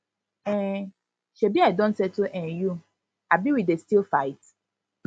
um shebi i don settle um you abi we dey still fight